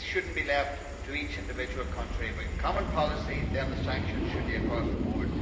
This should not be left to each individual country. If we have a common policy, then the sanctions should apply across the board.